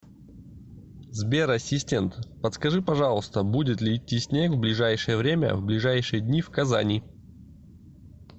сбер ассистент подскажи пожалуйста будет ли идти снег в ближайшее время в ближайшие дни в казани